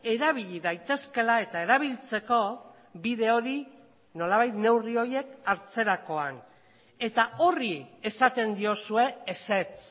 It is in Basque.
erabili daitezkeela eta erabiltzeko bide hori nolabait neurri horiek hartzerakoan eta horri esaten diozue ezetz